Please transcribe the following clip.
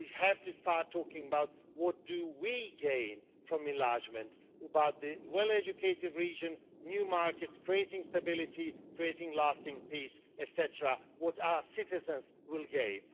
We have to start talking about what we gain from enlargement about the well educated regions, the new markets, creating stability, creating lasting peace, etc. what our citizens will gain.